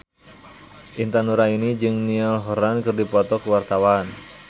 Intan Nuraini jeung Niall Horran keur dipoto ku wartawan